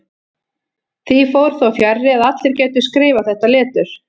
Því fór þó fjarri að allir gætu skrifað þetta letur.